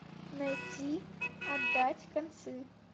найти отдать концы